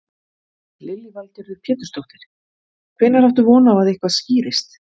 Lillý Valgerður Pétursdóttir: Hvenær áttu von á að eitthvað skýrist?